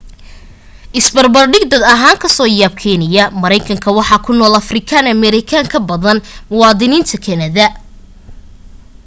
is barbardhig dad ahaan kaa soo yaab keenaya maraykanka waxa ku nool afrikaan ameerikan ka badan muwaadiniinta kanada